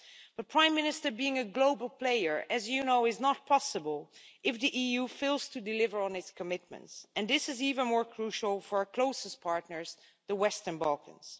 But Prime Minister, being a global player, as you know, is not possible if the EU fails to deliver on its commitments, and this is even more crucial for our closest partners the Western Balkans.